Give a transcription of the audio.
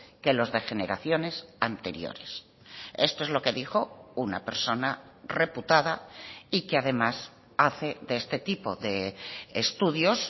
que los de generaciones anteriores esto es lo que dijo una persona reputada y que además hace de este tipo de estudios